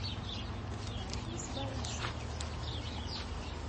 рафис борисович